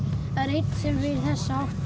einn sem fer í þessa átt og